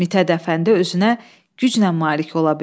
Mit Hədəfəndi özünə güclə malik ola bildi.